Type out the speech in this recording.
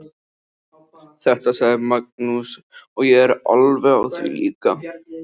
Þetta sagði Magnús og ég er alveg á því líka.